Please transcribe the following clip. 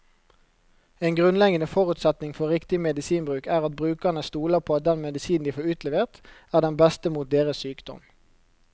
En grunnleggende forutsetning for riktig medisinbruk er at brukerne stoler på at den medisinen de får utlevert, er den beste mot deres sykdom.